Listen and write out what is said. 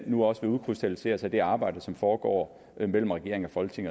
nu også vil udkrystallisere sig i det arbejde som foregår mellem regering og folketing